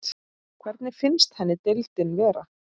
Hvernig finnst henni deildin vera?